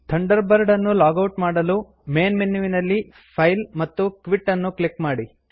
Thunderbird ಅನ್ನು log out ಮಾಡಲು main menu ನಲ್ಲಿ ಫೈಲ್ ಮತ್ತು ಕ್ವಿಟ್ ಅನ್ನು ಕ್ಲಿಕ್ ಮಾಡಿ